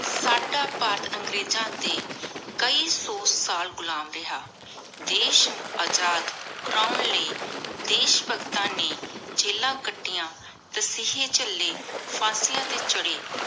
ਸਦਾ ਭਾਰਤ ਅੰਗ੍ਰੇਜ਼ਾਂ ਦੇ ਕਾਯੀ ਸੋ ਸਾਲ ਘੁਲਮ ਰਿਹਾ ਦੇਸ਼ ਅਜਾਦ ਕਰਨ ਲਾਏ ਦੇਸ਼ ਭਗਤਾਂ ਨੀ ਜਿਲਾਨ ਕਾਤਿਯਾਂ ਤਾਸਿਹ੍ਯ ਚਲੀ ਫਾਂਸਿਯਾਂ ਟੀ ਚਢ਼ੀ